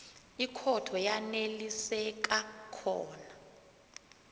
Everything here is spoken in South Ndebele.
ikhotho yaneliseka khona